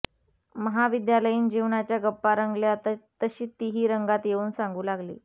महाविद्यालयीन जीवनाच्या गप्पा रंगल्या तशी तीही रंगात येऊन सांगू लागली